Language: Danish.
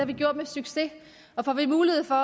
vi gjort med succes og får vi mulighed for